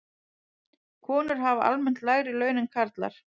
Konur hafa almennt lægri laun en karlar.